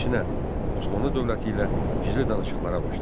Əksinə, Osmanlı dövləti ilə gizli danışıqlara başladı.